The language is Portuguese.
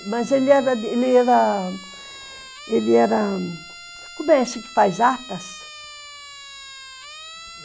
Mas ele era... Ele era... Ele era... Como é assim que faz atas?